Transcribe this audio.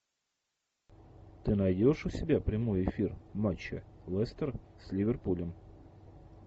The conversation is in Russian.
ты найдешь у себя прямой эфир матча лестер с ливерпулем